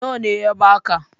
Nawa ne ya baka?